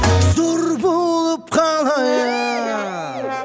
зор болып қалайық